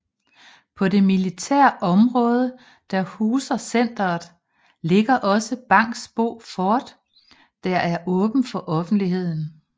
På det militære område der huser centeret ligger også Bangsbo Fort der er åbent for offentligheden